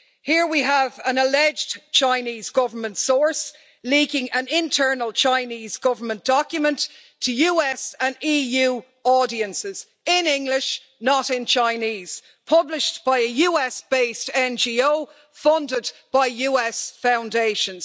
Here, we have an alleged Chinese Government source leaking an internal Chinese Government document to US and EU audiences, in English not in Chinese and published by a US based NGO funded by US foundations.